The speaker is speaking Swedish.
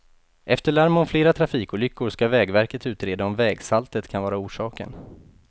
Efter larm om flera trafikolyckor ska vägverket utreda om vägsaltet kan vara orsaken.